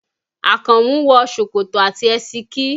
Àkànmú wọ ṣòkòtò àti ẹsikí